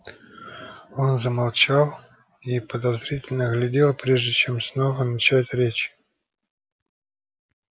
он замолчал и подозрительно огляделся прежде чем снова начать речь